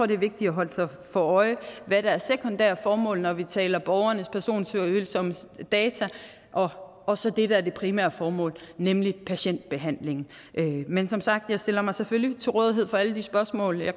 det er vigtigt at holde sig for øje hvad der er sekundære formål når vi taler borgernes personfølsomme data og så det der er det primære formål nemlig patientbehandling men som sagt stiller jeg mig selvfølgelig til rådighed for alle de spørgsmål der